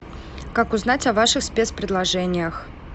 как узнать о ваших спецпредложениях